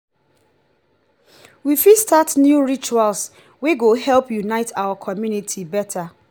we fit start new rituals wey go help unite our community beta.